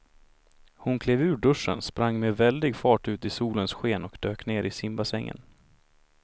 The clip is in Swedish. Hon klev ur duschen, sprang med väldig fart ut i solens sken och dök ner i simbassängen.